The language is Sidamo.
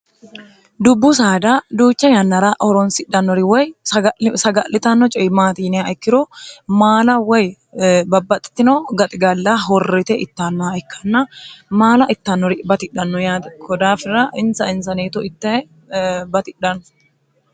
dubbu saada duucha yannara horonsidhannori woy saga'litanno coyi maati yinea ikkiro maala woy babbaxxitino gaxigalla horrite ittannoha ikkanna maala ittannori batidhanno yaate kodaafira insa insaneeto ittae baxidhanno